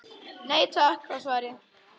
Nei takk var svarið.